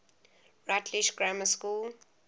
rutlish grammar school